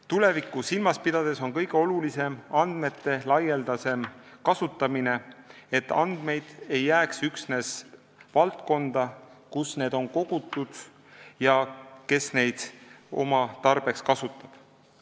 Tulevikku silmas pidades on kõige olulisem andmete laialdasem kasutamine, et andmed ei jääks üksnes valdkonda, kus need on kogutud ja mis neid oma tarbeks kasutab.